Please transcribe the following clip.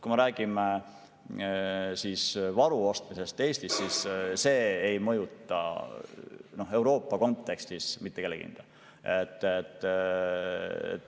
Kui me räägime varu ostmisest Eestis, siis see ei mõjuta Euroopa kontekstis mitte kellegi hinda.